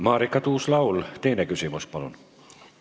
Marika Tuus-Laul, teine küsimus, palun!